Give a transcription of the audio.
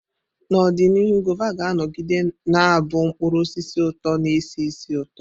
N'ọdịnihu, Guava ga-anọgide na-abụ mkpụrụ osisi ụtọ na-esi ísì ụtọ.